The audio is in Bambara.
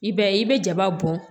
I b'a ye i bɛ jaba bɔn